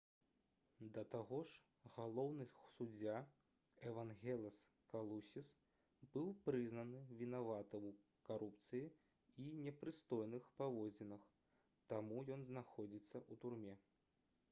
да таго ж галоўны суддзя эвангелас калусіс быў прызнаны вінаватым у карупцыі і непрыстойных паводзінах таму ён знаходзіцца ў турме